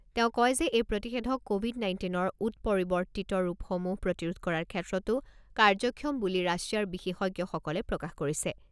তেওঁ কয় যে এই প্ৰতিষেধক ক’ভিড নাইণ্টিনৰ উৎপৰিৱৰ্তিত ৰূপসমূহ প্ৰতিৰোধ কৰাৰ ক্ষেত্ৰতো কাৰ্যক্ষম বুলি ৰাছিয়াৰ বিশেষজ্ঞসকলে প্ৰকাশ কৰিছে।